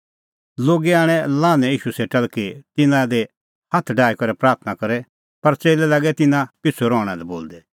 लोगै आणै लान्हैं ईशू सेटा कि तिन्नां दी हाथ डाही करै प्राथणां करे पर च़ेल्लै लागै तिन्नां पिछ़ू रहणा लै बोलदै